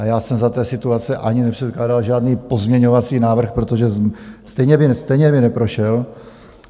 A já jsem za té situace ani nepředkládal žádný pozměňovací návrh, protože stejně by neprošel.